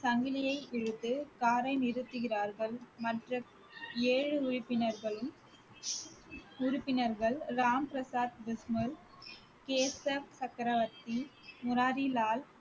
சங்கிலியை இழுத்து காரை நிறுத்துகிறார்கள் மற்ற ஏழு உறுப்பினர்களும் உறுப்பினர்கள் ராம் பிரசாத் பிஸ்மில், கேஷப் சக்கரவர்த்தி, முராரி லால்